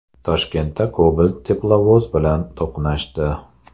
Toshkentda Cobalt teplovoz bilan to‘qnashdi.